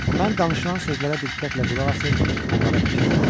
Mən danışılan sözlərə diqqətlə qulaq asır, onlara fikir verirdim.